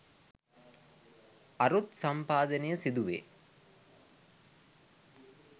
අරුත් සම්පාදනය සිදුවේ.